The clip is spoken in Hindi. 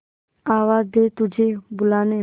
आवाज दे तुझे बुलाने